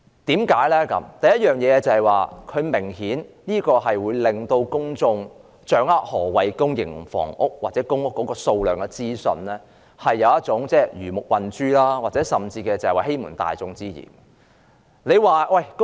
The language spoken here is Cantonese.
第一，這明顯在公眾掌握何謂公營房屋或公屋數量的資訊方面，有一種魚目混珠甚至欺瞞大眾之嫌。